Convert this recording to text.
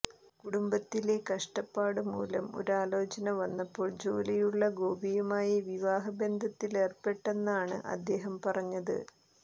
കുടുംബത്തിലെ കഷ്ടപ്പാടുമൂലം ഒരാലോചന വന്നപ്പോൾ ജോലിയുളള ഗോപിയുമായി വിവാഹബന്ധത്തിലേർപ്പെട്ടെന്നാണ് അദ്ദേഹം പറഞ്ഞത്